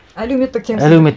әлеуметтік теңсіздік